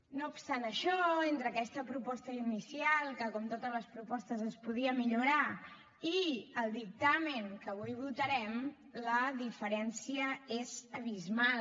no obstant això entre aquesta proposta inicial que com totes les propostes es podia millorar i el dictamen que avui votarem la diferència és abismal